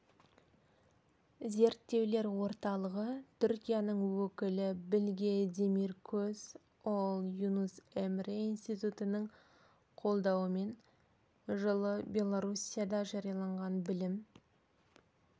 зерттеулер орталығы түркияның өкілі білге демиркөз ол юнус эмре институтының қолдауымен жылы белоруссияда жарияланған білім